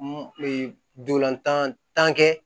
Ee ndolantan tan kɛ